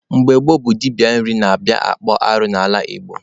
Mgbe gboo bụ dibịa nri na-abịa akpụ arụ n'ala Igbo.